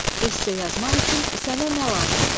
Esse yazmaq üçün sənə nə lazımdır?